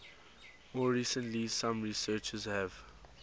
more recently some researchers have